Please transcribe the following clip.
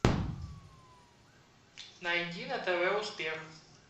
найди на тв успех